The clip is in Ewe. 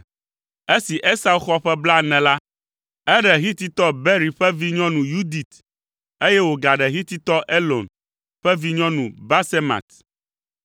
Esi Esau xɔ ƒe blaene la, eɖe Hititɔ Beeri ƒe vinyɔnu Yudit, eye wògaɖe Hititɔ Elon ƒe vinyɔnu Basemat.